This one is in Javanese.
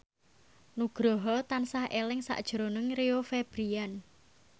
Nugroho tansah eling sakjroning Rio Febrian